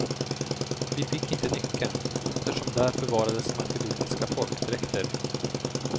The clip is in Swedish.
Vi fick inte nyckeln, eftersom där förvarades makedoniska folkdräkter.